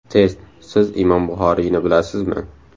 Test: Siz Imom Buxoriyni bilasizmi?.